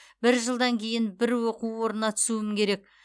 бір жылдан кейін бір оқу орнына түсуім керек